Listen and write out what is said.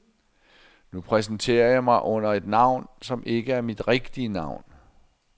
Nu præsenterer jeg mig under et navn, som ikke er mit rigtige navn.